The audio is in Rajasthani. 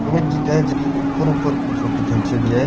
जकी ऊपर ऊपर की फोटो खेंचेडी है।